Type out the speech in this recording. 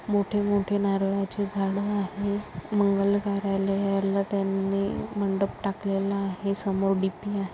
मोठे मोठे नारळाचे झाड आहे मंगलकार्यालयाला त्यांनी मंडप टाकलेला आहे समोर डी_पी आ --